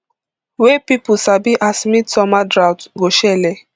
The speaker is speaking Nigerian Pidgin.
wey pipo sabi as midsummer drought go shele